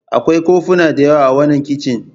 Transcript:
Akwai kofuna da yawa a wannan kicin.